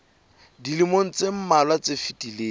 dilemong tse mmalwa tse fetileng